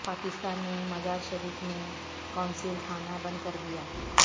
پاکستان نے مزار شریف میں قونصل خانہ بند کردیا